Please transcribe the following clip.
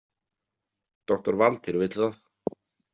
Doktor Valtýr vill það.